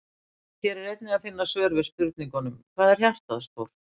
Hér er einnig að finna svör við spurningunum: Hvað er hjartað stórt?